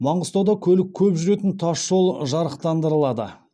маңғыстауда көлік көп жүретін тас жол жарықтандырылады